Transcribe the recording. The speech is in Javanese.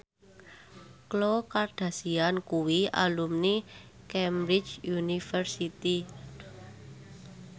Khloe Kardashian kuwi alumni Cambridge University